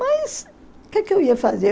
Mas o que que eu ia fazer?